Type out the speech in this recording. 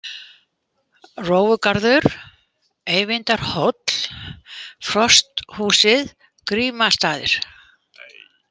Rófugarður, Eyvindarhóll, Frosthúsið, Grímastaðir